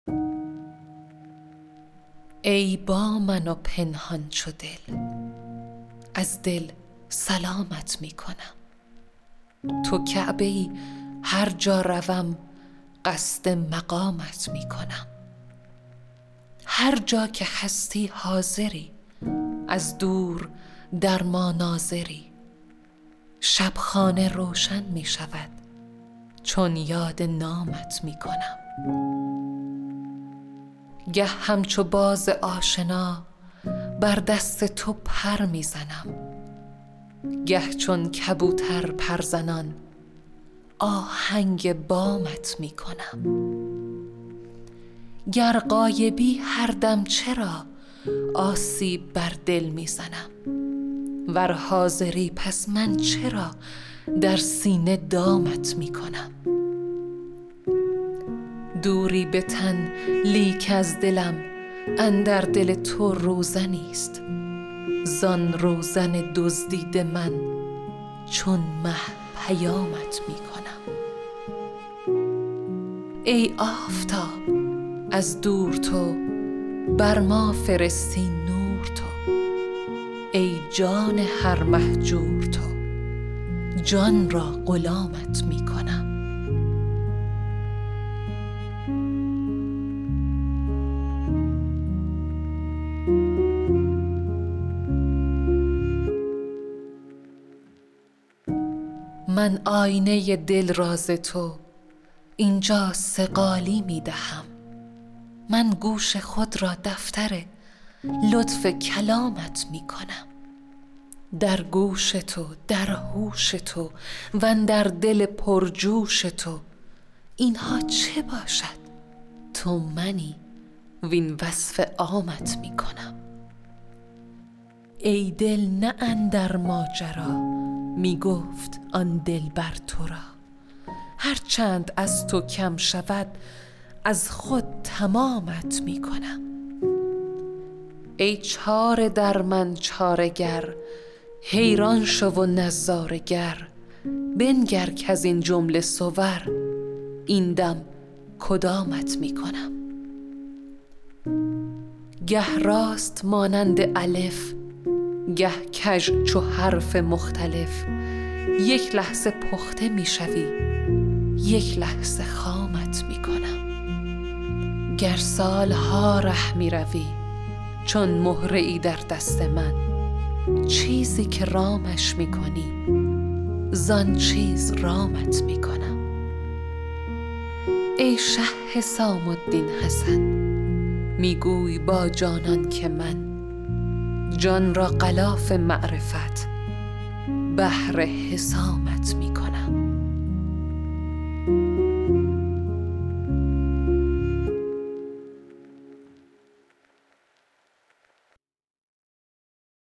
ای با من و پنهان چو دل از دل سلامت می کنم تو کعبه ای هر جا روم قصد مقامت می کنم هر جا که هستی حاضری از دور در ما ناظری شب خانه روشن می شود چون یاد نامت می کنم گه همچو باز آشنا بر دست تو پر می زنم گه چون کبوتر پرزنان آهنگ بامت می کنم گر غایبی هر دم چرا آسیب بر دل می زنی ور حاضری پس من چرا در سینه دامت می کنم دوری به تن لیک از دلم اندر دل تو روزنیست زان روزن دزدیده من چون مه پیامت می کنم ای آفتاب از دور تو بر ما فرستی نور تو ای جان هر مهجور تو جان را غلامت می کنم من آینه دل را ز تو این جا صقالی می دهم من گوش خود را دفتر لطف کلامت می کنم در گوش تو در هوش تو وندر دل پرجوش تو این ها چه باشد تو منی وین وصف عامت می کنم ای دل نه اندر ماجرا می گفت آن دلبر تو را هر چند از تو کم شود از خود تمامت می کنم ای چاره در من چاره گر حیران شو و نظاره گر بنگر کز این جمله صور این دم کدامت می کنم گه راست مانند الف گه کژ چو حرف مختلف یک لحظه پخته می شوی یک لحظه خامت می کنم گر سال ها ره می روی چون مهره ای در دست من چیزی که رامش می کنی زان چیز رامت می کنم ای شه حسام الدین حسن می گوی با جانان که من جان را غلاف معرفت بهر حسامت می کنم